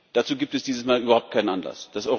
Dazu gibt es dieses Mal überhaupt keinen Anlass.